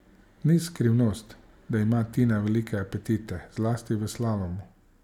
Ni skrivnost, da ima Tina velike apetite zlasti v slalomu.